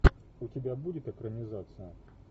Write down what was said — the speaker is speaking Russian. у тебя будет экранизация